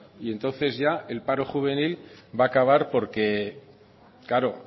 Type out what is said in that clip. y entonces ya el paro juvenil va a acabar porque claro